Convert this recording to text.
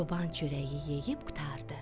Çoban çörəyi yeyib qurtardı.